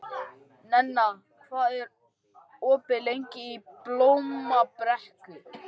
Nenna, hvað er opið lengi í Blómabrekku?